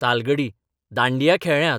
Talgadi dandiya खेळ्ळ्यांत.